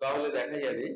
তাহলে দেখা যাবে,